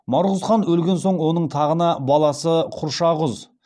марғұз хан өлген соң оның тағына баласы құршағұз бұйрық хан отырады